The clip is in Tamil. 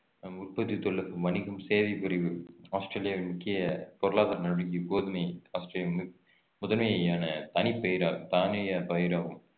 உற்பத்தி தொழிலுக்கு வணிகம் சேவைப்பிரிவு ஆஸ்திரேலியாவின் முக்கிய பொருளாதார நடவடிக்கை கோதுமை ஆஸ்திரேலியா முதன்மையான தனிப்பெயரா தானிய பயிராகும்